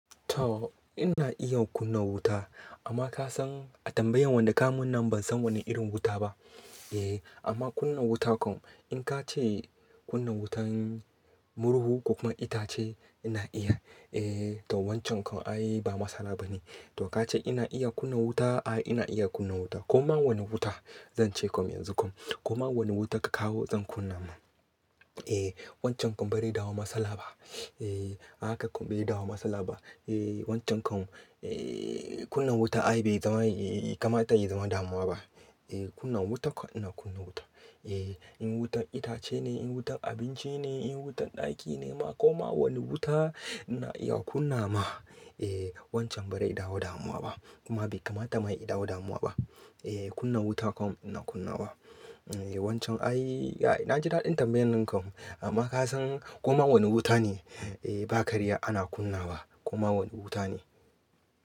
To ina iya kunna wuta amma ka san a tambayan wanda ka mun nan ban san wane irin wuta ba. Eh amma kunna wuta kom in ka ce kunna wutan murhu ko kuma itace ina iya. Eh to wancan kom ai ba matsala ba ne. To ka ce ina iya kunna wuta? Ai ina iya kunna wuta. Koma wane wuta zan ce kom yanzu kom. Koma wane wuta ka kawo zan kunna ma. Eh wancan kom bari dawo matsala ba. Eh haka kom bari dawo matsala ba. Eh wancan kom eh kunna wuta ai bai zama kamar ta yi zama damuwa ba. Eh kunna wuta kom ina kunna wuta. Eh in wutan itace ne, in wutan abinci ne, in wutan ɗaki ne ma koma wane wuta ina iya kunna ma. Eh wancan ba rai dawo damuwa ba kuma bai kama dama dama yi dawo damuwa ba. Eh kunna wuta kom ina kunna wa. Eh wancan ai na ji daɗin tambayan nan kom amma ka san koma wane wuta ne? Eh ba karya ana kunna wa koma wane wuta ne.